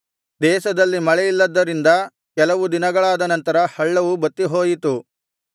ದೇಶದಲ್ಲಿ ಮಳೆಯಿಲ್ಲದ್ದರಿಂದ ಕೆಲವು ದಿನಗಳಾದನಂತರ ಹಳ್ಳವು ಬತ್ತಿಹೋಯಿತು